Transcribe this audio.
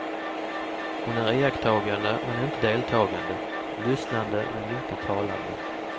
Hon är iakttagande men inte deltagande, lyssnande men inte talande.